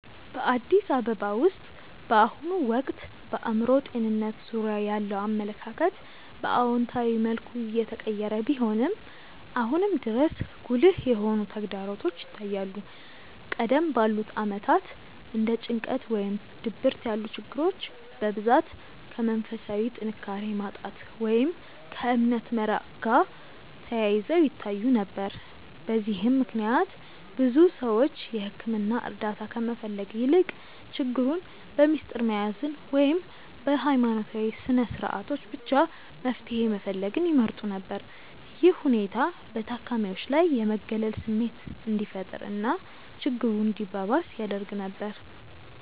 በአዲስ አበባ ውስጥ በአሁኑ ወቅት በአእምሮ ጤንነት ዙሪያ ያለው አመለካከት በአዎንታዊ መልኩ እየተቀየረ ቢሆንም፣ አሁንም ድረስ ጉልህ የሆኑ ተግዳሮቶች ይታያሉ። ቀደም ባሉት ዓመታት እንደ ጭንቀት ወይም ድብርት ያሉ ችግሮች በብዛት ከመንፈሳዊ ጥንካሬ ማጣት ወይም ከእምነት መራቅ ጋር ተያይዘው ይታዩ ነበር። በዚህም ምክንያት ብዙ ሰዎች የሕክምና እርዳታ ከመፈለግ ይልቅ ችግሩን በምስጢር መያዝን ወይም በሃይማኖታዊ ስነስርዓቶች ብቻ መፍትሄ መፈለግን ይመርጡ ነበር። ይህ ሁኔታ በታካሚዎች ላይ የመገለል ስሜት እንዲፈጠር እና ችግሩ እንዲባባስ ያደርግ ነበር።